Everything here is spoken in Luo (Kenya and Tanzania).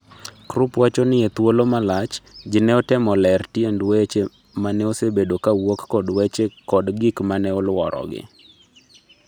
Krupp wacho ni e thuolo malach, ji neotemo ler tiend weche maneosebedo ka wuok kod weche kod gik ma ne oluorogi